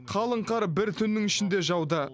қалың қар бір түннің ішінде жауды